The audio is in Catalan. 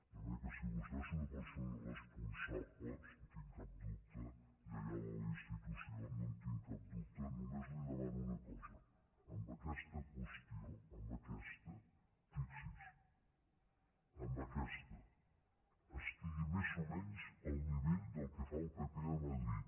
de manera que si vostè és una persona responsable no en tinc cap dubte lleial a la institució no en tinc cap dubte només li demano una cosa en aquesta qüestió en aquesta fixi’s en aquesta estigui més o menys al nivell del que fa el pp a madrid